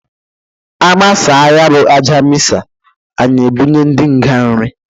Agbasa ya bụ Aja Misa, anyị ebunye ndị nga nrị.